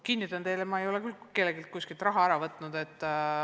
Kinnitan teile, et ma ei ole küll kelleltki kuskilt raha ära võtnud.